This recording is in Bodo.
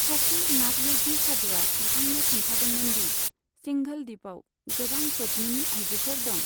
सासे नाथ य'गी सादुवा बिथांनो खोन्थादोंमोन दि सिंघल दिपआव गोबां पद्मिनि आइजोफोर दं।